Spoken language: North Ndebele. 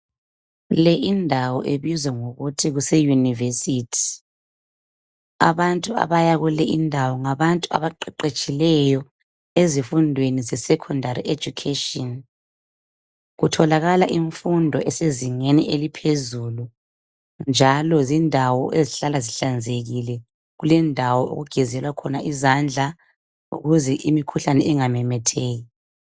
Le indawo ebizwa ngokuthi kuse yunivesithi. Abantu abaya kule indawo ngabantu abaqeqetshileyo ezifundweni zesekhondari ejukheshini. Kuthulakala imfundo esezingeni eliphezulu. Njalo zindawo ezihlala zihlanzekile. Kulendawo okugezelwa khona izandla ukuze imikhuhlane ingamamatheki.